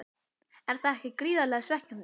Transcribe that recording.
Er það ekki gríðarlega svekkjandi?